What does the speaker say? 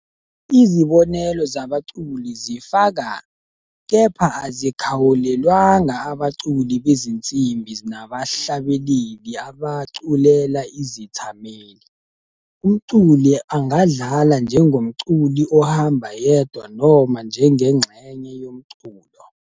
Izibonelo zabaculi zifaka, kepha azikhawulelwanga, abaculi bezinsimbi nabahlabeleli abaculela izethameli. Umculi angadlala njengomculi ohamba yedwa noma njengengxenye yomculo.